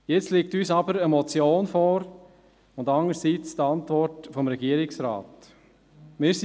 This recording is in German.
Nun liegen uns eine Motion sowie die Antwort des Regierungsrats vor.